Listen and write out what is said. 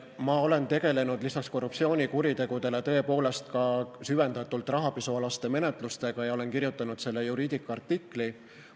Ma olen tegelnud peale korruptsioonikuritegude tõepoolest süvendatult ka rahapesumenetlustega ja olen kirjutanud selle Juridica artikli.